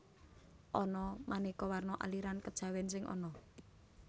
Ana manéka warna aliran kejawèn sing ana